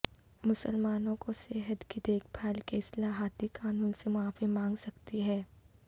مسلمانوں کو صحت کی دیکھ بھال کے اصلاحاتی قانون سے معافی مانگ سکتی ہے